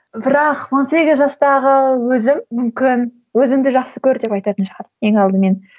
бірақ он сегіз жастағы өзім мүмкін өзіңді жақсы көр деп айтатын шығармын ең алдымен